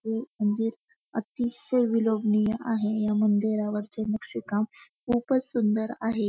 हे मंदिर अतिशय विलोभनीय आहे या मंदिरावरचे नक्षी काम खूपच सुंदर आहे.